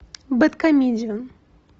бэдкомедиан